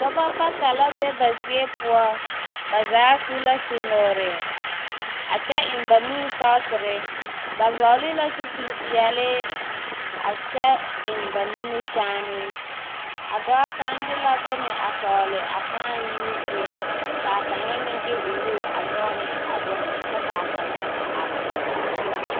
Dͻbͻ bata la be ba zie poͻ. Ba zaa su la su-nuure, a kyԑ eŋ ba nuuri sͻgesere. Ba vͻgele la zupili peԑle a kyԑ eŋ ba nimikyaanee. A dͻͻ kaŋa de la bone a tͻgele a kãã yiiu zie ka a kaŋa meŋ de onuuri a nyͻge ne a bone kyԑ ka a kaŋa a are kͻge o.